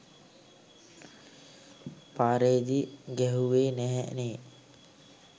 පාරේදී ගැහෙව්වේ නැහැ නේ